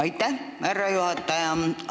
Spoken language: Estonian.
Aitäh, härra juhataja!